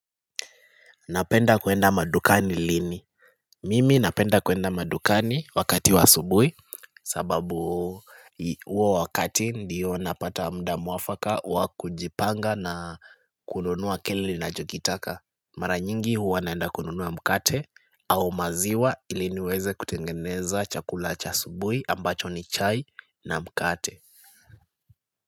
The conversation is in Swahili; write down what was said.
Napenda kuenda madukani lini Mimi napenda kuenda madukani wakati wa asubuhi sababu huo wakati ndiyo napata mda muafaka wa kujipanga na kununua kile ninachokitaka Mara nyingi huwa naenda kununua mkate au maziwa ili niweze kutengeneza chakula cha asubuhi ambacho ni chai na mkate.